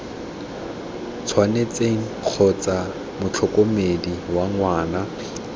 tshwanetseng kgotsa motlhokomedi wa ngwana